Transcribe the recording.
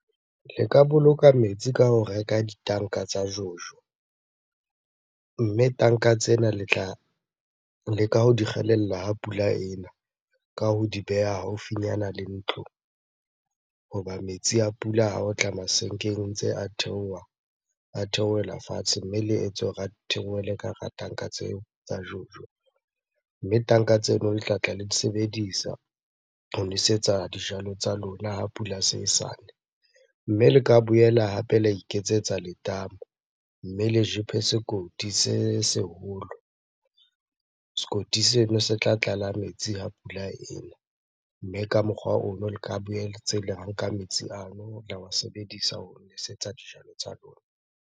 Le ka boloka metsi ka ho reka ditanka tsa jojo. Mme tanka tsena le tla leka ho di kgelella ha pula ena, ka ho di beha haufinyana le ntlo. Hoba metsi a pula ha o tla masenkeng, ntse a theoha, a theohela fatshe. Mme le etse hore a theohele ka hara tanka tseo tsa jojo. Mme tanka tseno le tlatla le di sebedisa ho nwesetsa dijalo tsa lona ha pula se e sane. Mme le ka boela hape la iketsetsa letamo, mme le jepe sekoti se seholo. Sekoti seno se tla tlala metsi ha pula ena, mme ka mokgwa ono le ka la nka metsi ano, la wa sebedisa ho nwesetsa dijalo tsa lona.